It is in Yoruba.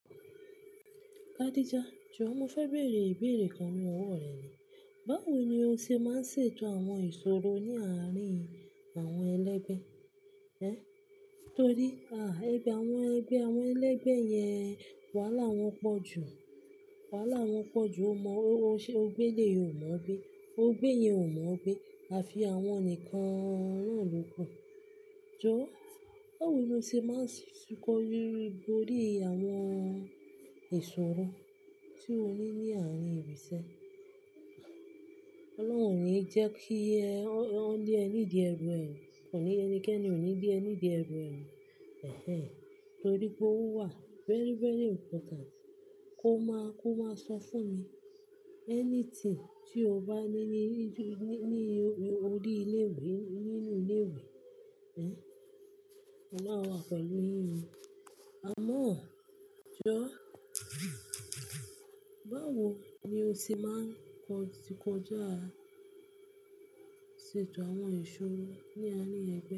Khadijah, jọ mo fẹ́ beẹ̀rẹ̀ ìbéèrè kan ní ọwọ́ rẹ ni. Báwo ni o ṣe máa ń ṣètò àwọn ìṣòro ní àárín àwọn ẹlẹ́gbẹ́? Ẹ́, torí, à, ẹgbẹ́ àwọn ẹgbẹ́ àwọn ẹlẹ́gbẹ́ yẹn, wàhálà wọn pọ̀ jù. Wàhálà wọn pọ̀ jù. O mọ ọ, o ṣe, ọgbẹ́lé ò mọ̀ ọgbẹ́, ọgbẹ́ iyen ò mọ̀o gbẹ́. A fi àwọn nìkan náà ló kù. Jọ, báwo ni o ṣe máa ń si kan rere borí àwọn ìṣòro tí o ní ní àárín ìrísẹ́? Ọlọ́run o ni jẹ́ kí ẹ, won lé ẹ ní di ẹrù ẹ. Kò ní ẹnikẹ́ni ò ní bí ẹní di ẹrù ẹ. Ẹ̀hẹ́n, torí pé ó wà very, very important kó máa, kó máa sọ fún mi. Anything tí o bá ní ní, ní, ní orí ilé-ìwé, nínú ilé-ìwé. Ẹ́, Ọlọ́run wà pẹ̀lú yín o. Amọ́, jọ, báwo ni o ṣe máa ń kọ, ṣìkọjá ṣètò àwọn ìṣòro ní àárín ẹgbẹ́?